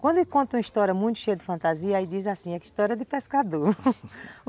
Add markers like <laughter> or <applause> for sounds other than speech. Quando conta uma história muito cheia de fantasia, aí diz assim, é que história de pescador <laughs>